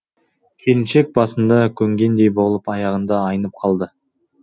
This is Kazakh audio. келіншек басында көнгендей болып аяғында айнып қалды